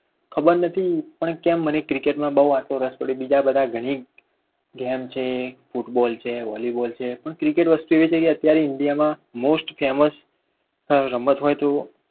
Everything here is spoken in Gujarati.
ખબર નથી પણ કેમ મને cricket માં એટલો બધો રસ પડ્યો બીજા બધા કરતા ઘણી games છે ફૂટબોલ છે, વોલીબોલ છે પણ cricket એક એવી વસ્તુ છે અત્યારે ઇન્ડિયામાં most famous રમત હોય તો